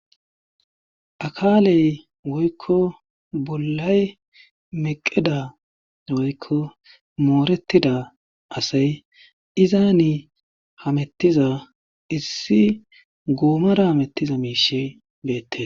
Akaaley woykko bollay meqeda woykko mooretida asay izaani hamettiza issi goomara hamettiza miishe beette